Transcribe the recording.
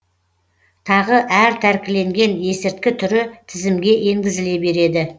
тағы әр тәркіленген есірткі түрі тізімге енгізіле береді